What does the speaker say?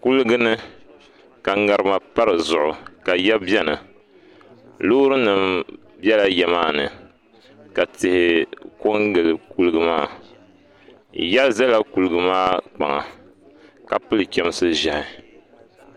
Kuliga ni ka ŋarima pa di zuɣu ka yiya biɛni loori nim biɛla yiya maa ni ka tihi ko n gili kuliga maa yiya ʒɛla kuliga maa kpaŋa ka pili chɛmsi ʒiɛhi